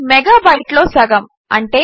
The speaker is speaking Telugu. ఇది మెగాబైట్లో సగము